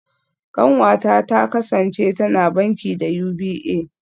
Kanwata ta kasance tana banki da UBA